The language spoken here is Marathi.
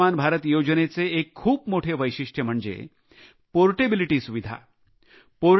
आयुष्मान भारत योजनेचे एक खूप मोठे वैशिष्ट्य म्हणजे पोर्टेबिलिटी सुविधा